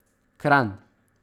Kranj.